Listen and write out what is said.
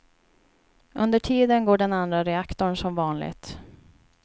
Under tiden går den andra reaktorn som vanligt.